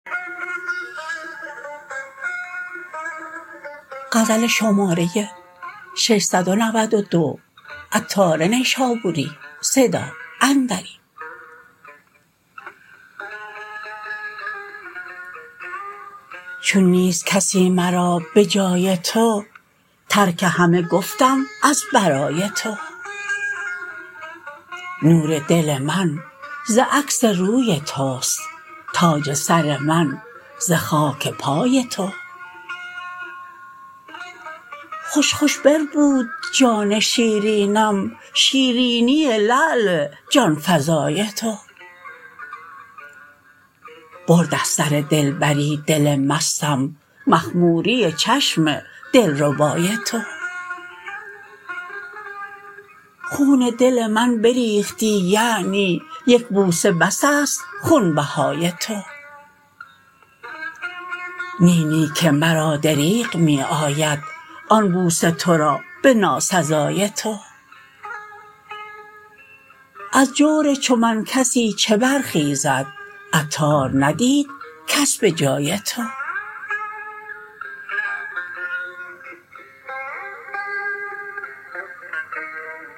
چون نیست کسی مرا به جای تو ترک همه گفتم از برای تو نور دل من ز عکس روی توست تاج سر من ز خاک پای تو خوش خوش بربود جان شیرینم شیرینی لعل جانفزای تو برد از سر دلبری دل مستم مخموری چشم دلربای تو خون دل من بریختی یعنی یک بوسه بس است خونبهای تو نی نی که مرا دریغ می آید آن بوسه تورا به ناسزای تو از جور چو من کسی چه برخیزد عطار ندید کس به جای تو